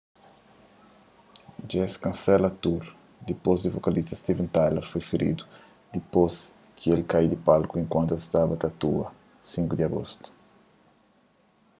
dje-s kansela tour dipôs di vokalista steven tyler foi feridu dipôs ki el kai di palku enkuantu es staba ta atua 5 di agostu